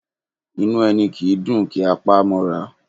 Inú ẹni kì í dùn kí a pa á mọ́ra